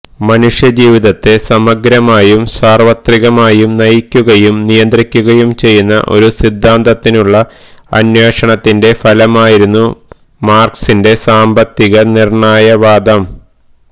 മനുഷ്യജീവിതത്തെ സമഗ്രമായും സാർവത്രികമായും നയിക്കുകയും നിയന്ത്രിക്കുകയും ചെയ്യുന്ന ഒരു സിദ്ധാന്തത്തിനുള്ള അന്വേഷണത്തിന്റെ ഫലമായിരുന്നു മാർക്സിന്റെ സാമ്പത്തിക നിർണയവാദം